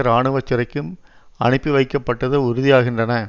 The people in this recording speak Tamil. இராணுவ சிறைக்கும் அனுப்பி வைக்கப்பட்டது உறுதியாகின்றன